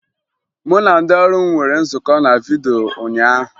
Mụ na ndị ọrụ m nwere nzukọ na vidyo ụnyaahụ